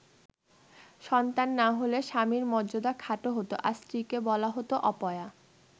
সন্তান না হলে স্বামীর মর্যাদা খাটো হতো আর স্ত্রীকে বলা হতো অপয়া।